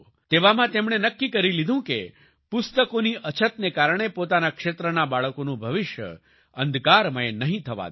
તેવામાં તેમણે નક્કી કરી લીધું કે પુસ્તકોની અછતને કારણે પોતાના ક્ષેત્રના બાળકોનું ભવિષ્ય અંધકારમય નહીં થવા દે